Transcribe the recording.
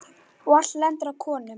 Og allt lendir á konum.